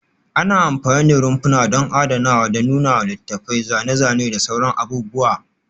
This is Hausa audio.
Ana amfani da rumfuna don adanawa da nuna littattafai, zane-zane da sauran abubuwa